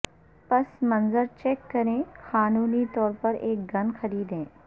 پس منظر چیک کریں قانونی طور پر ایک گن خریدیں